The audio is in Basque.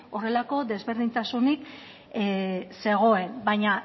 horrelako desberdintasunik zegoen baina